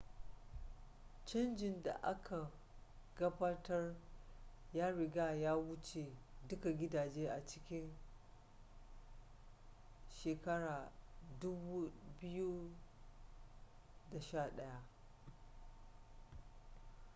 canjin da aka gabatar ya riga ya wuce duka gidaje a cikin 2011